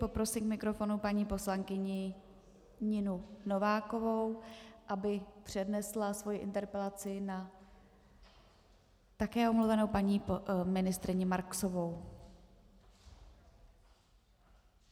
Poprosím k mikrofonu paní poslankyni Ninu Novákovou, aby přednesla svoji interpelaci na také omluvenou paní ministryni Marksovou.